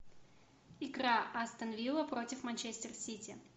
игра астон вилла против манчестер сити